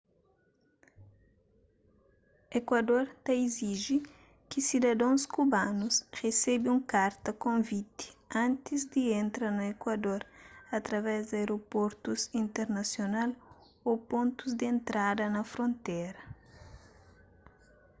ekuador ta iziji ki sidadons kubanus resebe un karta konviti antis di entra na ekuador através di aeroportus internasional ô pontus di entrada na frontéra